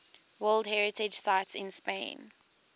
world heritage sites in spain